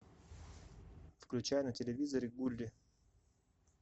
включай на телевизоре гулли